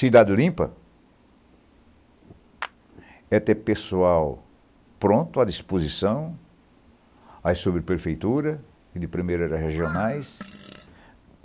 Cidade limpa é ter pessoal pronto, à disposição, aí sobre a prefeitura e, de primeira, regionais.